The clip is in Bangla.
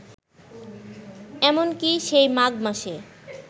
এমন কি, সেই মাঘ মাসে